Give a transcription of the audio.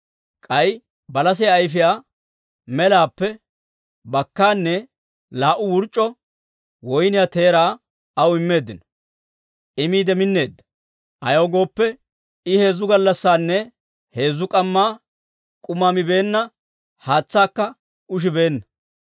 K'ay balasiyaa ayfiyaa melaappe bakkaanne laa"u wurc'c'o woyniyaa teeraa aw immeeddino; I miide mineedda; ayaw gooppe, I heezzu gallassinne heezzu k'amma k'uma mibeenna haatsaakka ushibeenna.